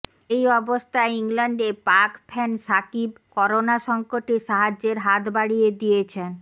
এই অবস্থায় ইংল্যান্ডে পাক ফ্যান শাকিব করোনা সংকটে সাহায্যের হাত বাড়িয়ে দিয়েছেন